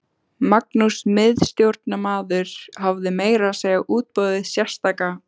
Magnús miðstjórnarmaður hafði meira að segja útbúið sérstaka